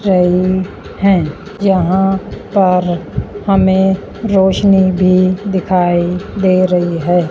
है। यहां पर हमें रोशनी भी दिखाई दे रही है।